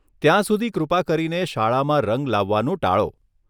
ત્યાં સુધી કૃપા કરીને શાળામાં રંગ લાવવાનું ટાળો.